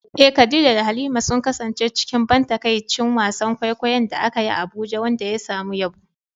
Eh, Khadija da Halima sun kasance cikin ban takaici wasan kwaikwayon da aka yi a Abuja wanda ya samu yabo.